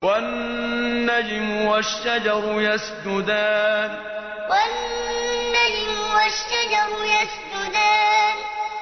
وَالنَّجْمُ وَالشَّجَرُ يَسْجُدَانِ وَالنَّجْمُ وَالشَّجَرُ يَسْجُدَانِ